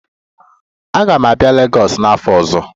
Aga m abịa Legọs n'afọ ọzọ